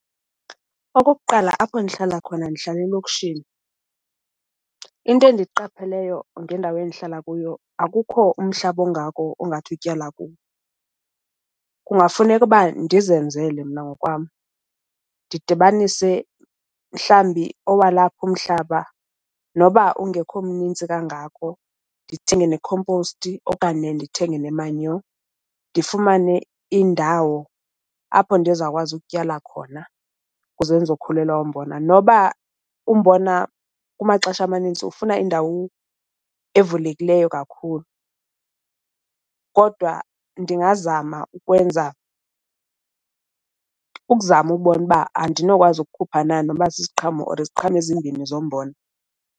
Okokuqala apho ndihlala khona ndihlala elokishini. Into endiyiqapheleyo ngendawo endihlala kuyo akukho umhlaba ongako ongade utyala kuwo. Kungafuneka uba ndizenzele mna ngokwam ndidibanise mhlawumbi owalapha umhlaba noba ungekho mninzi kangako ndithenge nekhomposti okanye ndithenge nemanyo. Ndifumane indawo apho ndizawukwazi ukutyala khona kuze ndizokhulelwa ngumbona. Noba umbona kumaxesha amanintsi ufuna indawu evulekileyo kakhulu kodwa ndingazama ukwenza ukuzama ukubona uba andinokwazi ukukhupha na noba sisiqhamo or iziqhamo ezimbini zombona.